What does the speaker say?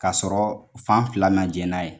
Ka sɔrɔ fan fila ma jɛ n'a ye.